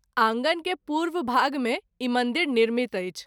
आँगन के पूर्व भाग मे ई मंदिर निर्मित अछि।